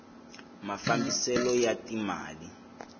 mafambiselo ya ti mali